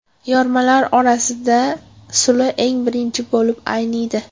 Yormalar orasida suli eng birinchi bo‘lib ayniydi.